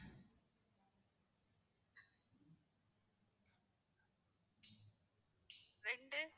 ரெண்டு